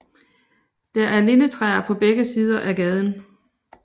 Der er lindetræer på begge sider af gaden